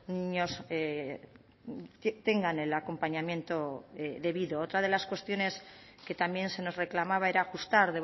niños tengan el acompañamiento debido otra de las cuestiones que también se nos reclamaba era ajustar